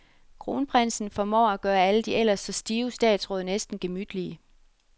Kronprinsen formår at gøre de ellers så stive statsråd næsten gemytlige.